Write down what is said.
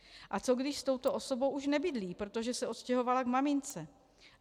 - A co když s touto osobou už nebydlí, protože se odstěhovala k mamince?